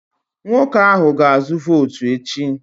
Nwoke ahụ ga-azụ votu echi